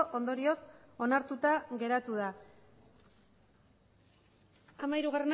ondorioz onartuta geratu da hamairuak